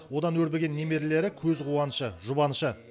одан өрбіген немерелері көзқуанышы жұбанышы